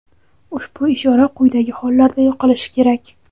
Ushbu ishora quyidagi hollarda yoqilishi kerak:.